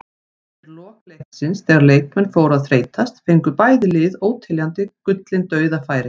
Undir lok leiksins þegar leikmenn fóru að þreytast fengu bæði lið óteljandi gullin dauðafæri.